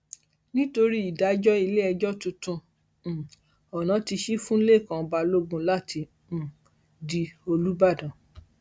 nítorí ìdájọ iléẹjọ tuntun um ọnà ti ṣì fún lẹkan balógun láti um di olùbàdàn